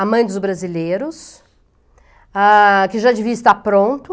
A Mãe dos Brasileiros, ah, que já devia estar pronto.